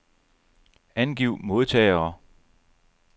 Angiv modtagere.